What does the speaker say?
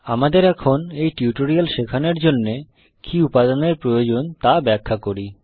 আমাদের এখন এই টিউটোরিয়াল শেখানোর জন্যে কি উপাদান এর প্রয়োজন তা ব্যাখ্যা করি